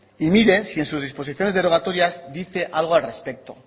y mire si en sus disposiciones derogatorias dice algo al respecto